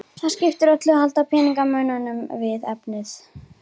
Það skiptir öllu að halda peningamönnunum við efnið.